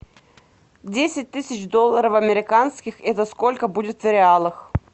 десять тысяч долларов американских это сколько будет в реалах